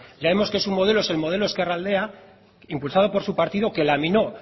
ya vemos que su modelo es un modelo ezkerraldea impulsado por su partido que laminó